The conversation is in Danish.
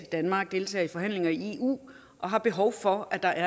danmark deltager i forhandlinger i eu og har behov for at der